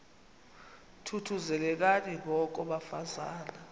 thuthuzelekani ngoko bafazana